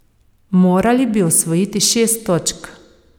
Morali bi osvojiti šest točk.